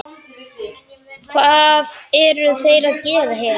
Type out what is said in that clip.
Hvað eru þeir að gera hér?